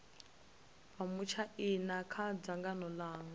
vha matshaina kha dzangano langa